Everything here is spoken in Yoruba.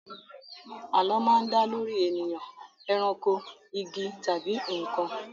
Àlọ́ máa ń dá lórí ènìyàn, eranko, igi, tàbí nǹkan